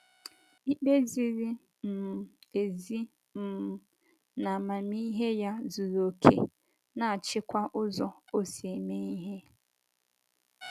Ikpe ziri um ezi um na amamihe ya zuru okè, na - achịkwa ụzọ o si eme ihe.